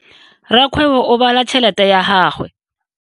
Rakgwebo o bala tšhelete ya gagwe.